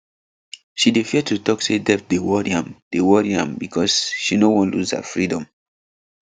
she dey fear to talk say debt dey worry am dey worry am because she no wan lose her freedom